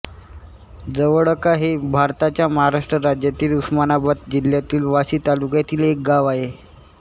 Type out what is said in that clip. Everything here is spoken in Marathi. जवळका हे भारताच्या महाराष्ट्र राज्यातील उस्मानाबाद जिल्ह्यातील वाशी तालुक्यातील एक गाव आहे